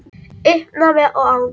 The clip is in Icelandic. Í uppnámi og angist.